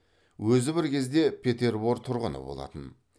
өзі бір кезде петербор тұрғыны болатын